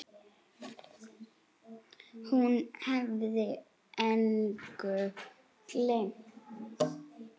Hún hafði engu gleymt.